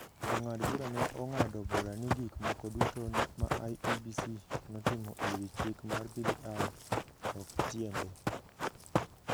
Jong'ad bura ne ong’ado bura ni gik moko duto ma IEBC notimo e wi chik mar BBI ok tiende.